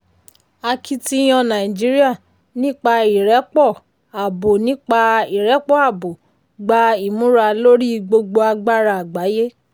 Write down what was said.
akitiyan nàìjíríà nípa ìrẹ́pọ̀ abo nípa ìrẹ́pọ̀ abo gba ìmúra lórí gbogbo agbára àgbáyé.